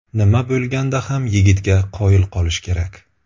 Nima bo‘lganda ham, yigitga qoyil qolish kerak.